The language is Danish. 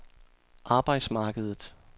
arbejdsmarkedet